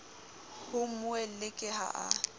ho mmuelli ke ha a